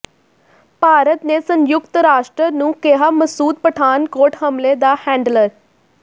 ਭਾਰਤ ਨੇ ਸੰਯੁਕਤ ਰਾਸ਼ਟਰ ਨੂੰ ਕਿਹਾ ਮਸੂਦ ਪਠਾਨਕੋਟ ਹਮਲੇ ਦਾ ਹੈਂਡਲਰ